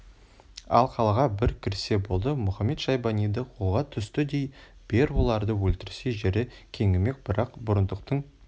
ал қалаға бір кірсе болды мұхамед-шайбаниды қолға түсті дей бер оларды өлтірсе жері кеңімек бірақ бұрындықтың